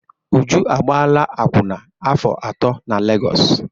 Uju agbaala akwụna afọ atọ na Legọsụ.